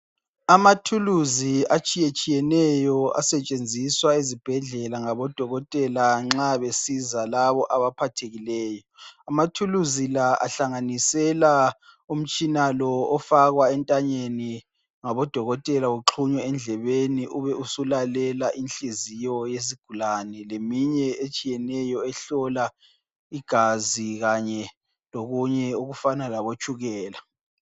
Amathuluzi atshiyeneyo asetshenziswa ezibhedlela ngabo dokotela nxa besiza laba abaphathekileyo amatguluzi lawa ahlanganisela umtshina lowo ofakwa entanyeni ngabo dokotela uxhunye endlebeni ubusulalela inhliziyo yesigulane leminye etshiyeneyo ehlola igazi kanye lokunye okufana labo tshukela